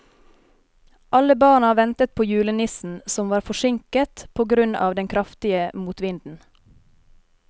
Alle barna ventet på julenissen, som var forsinket på grunn av den kraftige motvinden.